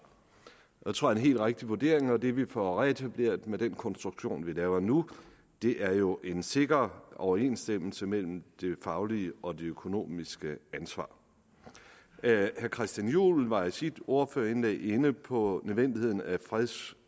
det tror jeg helt rigtig vurdering og det vi får reetableret med den konstruktion vi laver nu er jo en sikker overensstemmelse mellem det faglige og det økonomiske ansvar herre christian juhl var i sit ordførerindlæg inde på nødvendigheden af freds